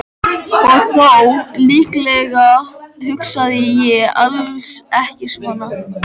Og þó, líklega hugsaði ég alls ekki svona.